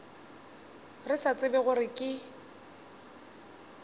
re sa tsebe gore ke